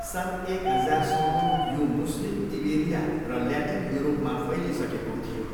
सन् एक हजारसम्म यो मुस्लिम इबेरिया र ल्याटिन युरोपमा फैलिसकेको थियो।